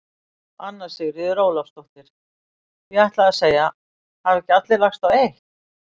Anna Sigríður Ólafsdóttir: Ég ætlaði að segja: Hafa ekki allir lagst á eitt?